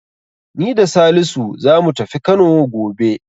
Ni da Salisu zamu tafi Kano gobe.